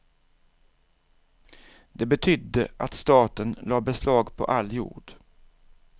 Det betydde att staten lade beslag på all jord.